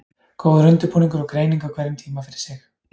Góður undirbúningur og greining á hverjum tíma fyrir sig.